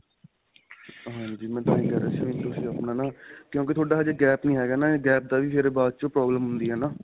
ਹਾਂਜੀ ਮੈਂ ਤਾਂਹੀ ਕਹਿ ਰਿਹਾ ਸੀ ਵੀ ਤੁਸੀਂ ਆਪਣਾ ਨਾ ਕਿਉਂਕਿ ਤੁਹਾਡਾ ਹਜੇ gap ਨਹੀਂ ਹੈਗਾ ਨਾ ਇਹ gap ਦਾ ਵੀ ਫਿਰ ਬਾਅਦ 'ਚੋਂ problem ਹੁੰਦੀ ਹੈ ਨਾ.